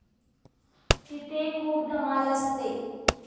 तिथे खूप धमाल असते.